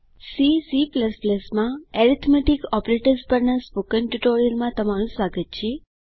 C C માં arithmetic operators પરના spoken ટ્યુટોરીયલમાં તમારું સ્વાગત છે